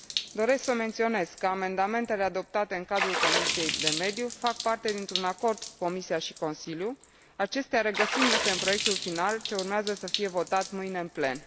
Doresc să menționez că amendamentele adoptate în cadrul Comisiei pentru mediu fac parte dintr un acord cu Comisia și Consiliul, acestea regăsindu se în proiectul final ce urmează să fie votat mâine în plen.